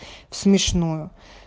в смешное